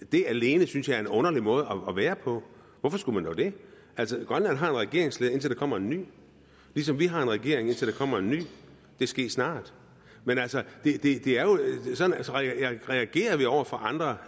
det alene synes jeg er en underlig måde at være på hvorfor skulle man dog det altså grønland har en regeringsleder indtil der kommer en ny ligesom vi har en regering indtil der kommer en ny det ske snart men altså vi reagerer over for andre